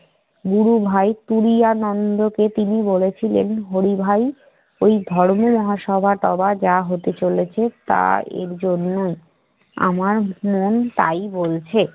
গুরু ভাই তুরিয়ানন্দকে তিনি বলেছিলেন, হরি ভাই ওই ধর্মের সভা-টভা যা হতে চলেছে তা এর জন্যই। আমার মন তাই বলছে।